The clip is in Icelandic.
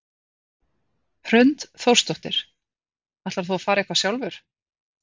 Hrund Þórsdóttir: Ætlar þú að fara eitthvað sjálfur?